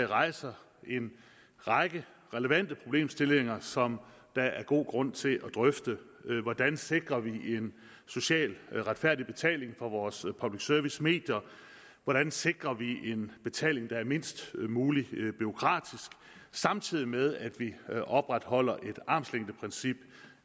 rejser en række relevante problemstillinger som der er god grund til at drøfte hvordan sikrer vi en socialt retfærdig betaling for vores public service medier og hvordan sikrer vi en betaling der er mindst muligt bureaukratisk samtidig med at vi opretholder et armslængdeprincip